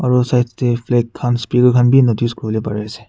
aro side tey flag khan beh notice kure bole pare ase.